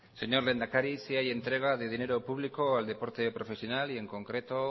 señor lehendakari sí hay entrega de dinero público al deporte profesional y en concreto